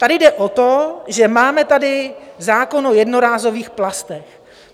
Tady jde o to, že máme tady zákon o jednorázových plastech.